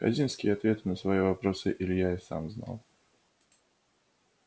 хазинские ответы на свои вопросы илья и сам знал